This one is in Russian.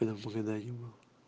когда в магадане был